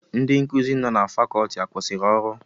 Ndị nkuzi nọ na Fakọọti akwụsịrị ọrụ?